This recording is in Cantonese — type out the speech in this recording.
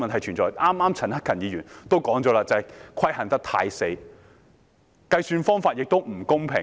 陳克勤議員剛才也指出這些規限太僵硬，計算方法也並不公平。